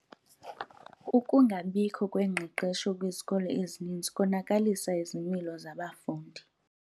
Ukungabikho kwengqeqesho kwizikolo ezininzi konakalise izimilo zabafundi.